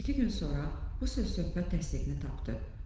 İki gün sonra bu söz-söhbət təsdiqini tapdı.